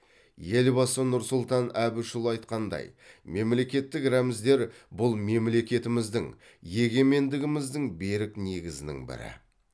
елбасы нұрсұлтан әбішұлы айтқандай мемлекеттік рәміздер бұл мемлекетіміздің егемендігіміздің берік негізінің бірі